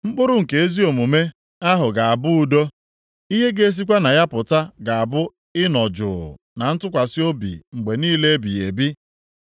Mkpụrụ nke ezi omume ahụ ga-abụ udo; ihe ga-esikwa na ya pụta ga-abụ ị nọ jụụ na ntụkwasị obi mgbe niile ebighị ebi.